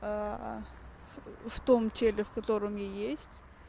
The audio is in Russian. в том теле в котором я есть